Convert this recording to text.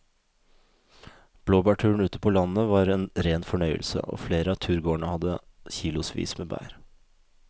Blåbærturen ute på landet var en rein fornøyelse og flere av turgåerene hadde kilosvis med bær.